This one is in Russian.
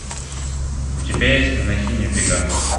у тебя есть монахини в бегах